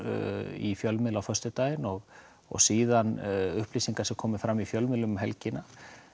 í fjölmiðli á föstudaginn og og síðan upplýsingar sem komu fram í fjölmiðlum um helgina